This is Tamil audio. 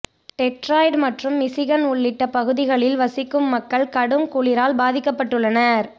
டெட்ராய்ட் மற்றும் மிசிகன் உள்ளிட்ட பகுதிகளில் வசிக்கும் மக்கள் கடும் குளிரால் பாதிக்கப்பட்டுள்ளனர்